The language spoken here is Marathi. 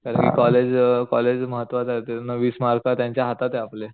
कारण कि कॉलेज कॉलेज महत्वाचं ते वीस मार्क त्यांच्या हाताते आपले